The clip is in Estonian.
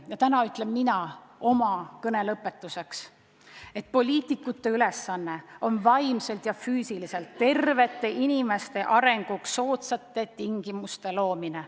Ja täna ütlen mina oma kõne lõpetuseks, et poliitikute ülesanne on vaimselt ja füüsiliselt tervete inimeste arenguks soodsate tingimuste loomine.